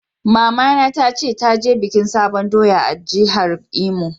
Mama na ta ce ta je bikin sabon doya a'jihar Imo.